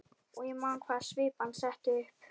Og ég man hvaða svip hann setti upp.